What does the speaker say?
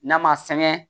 N'a ma sɛgɛn